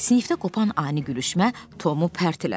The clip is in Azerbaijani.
Sinifdə qopan ani gülüşmə Tomu pərteləmişdi.